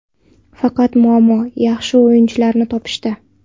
Faqat, muammo yaxshi o‘yinchilarni topishda.